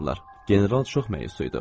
General çox məyus idi.